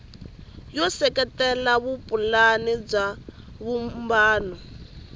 yo seketela vupulani bya vumbano